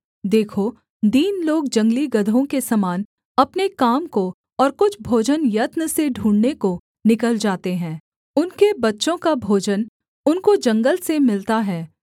देखो दीन लोग जंगली गदहों के समान अपने काम को और कुछ भोजन यत्न से ढूँढ़ने को निकल जाते हैं उनके बच्चों का भोजन उनको जंगल से मिलता है